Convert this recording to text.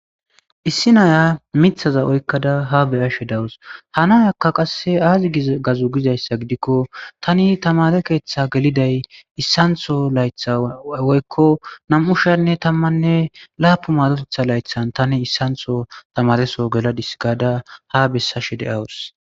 Issi naya mithaza oykkada ha beyashe dawus hanayakka qasse aazi gazu gizayssa gidikko tani tamare keeththa geliday issantho laytha woykko nam7u shanne tammanne laapu madotetha laythan tani issantho tamareso geladis gaada ha bessashe de awus.